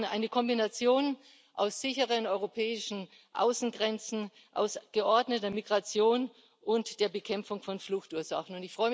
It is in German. Wir brauchen eine Kombination aus sicheren europäischen Außengrenzen, geordneter Migration und der Bekämpfung von Fluchtursachen.